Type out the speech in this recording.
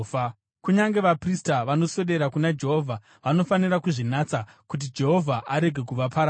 Kunyange vaprista, vanoswedera kuna Jehovha, vanofanira kuzvinatsa, kuti Jehovha arege kuvaparadza.”